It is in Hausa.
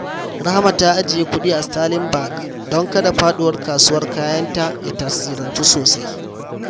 Rahama ta ajiye kudi a Sterling Bank don kada faduwar kasuwar kayanta ya tasirantu sosai.